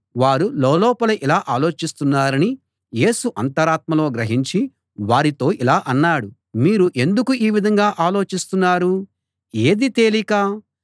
వారు లోలోపల ఇలా ఆలోచిస్తున్నారని యేసు అంతరాత్మలో గ్రహించి వారితో ఇలా అన్నాడు మీరు ఎందుకు ఈ విధంగా ఆలోచిస్తున్నారు ఏది తేలిక